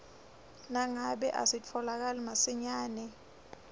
nangabe asitfolakali masinyane